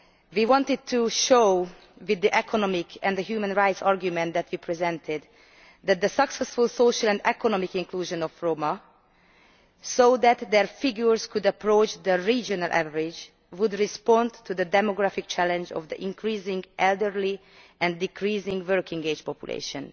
We wanted to show, through the economic and human rights argument that we presented, that the successful social and economic inclusion of Roma, so their figures could approach the regional average, would respond to the demographic challenge of the increasing elderly and decreasing working age population.